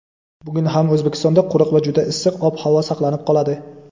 Bugun ham O‘zbekistonda quruq va juda issiq ob-havo saqlanib qoladi.